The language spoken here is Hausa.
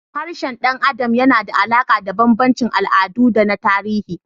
Harshen ɗan adam yana da alaƙa da bambancin al'adu da na tarihi.